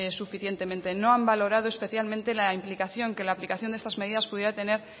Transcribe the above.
suficientemente no han valorado especialmente la implicación que la aplicación de estas medidas pudiera tener